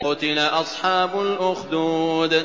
قُتِلَ أَصْحَابُ الْأُخْدُودِ